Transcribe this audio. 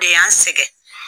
De y'an sɛgɛ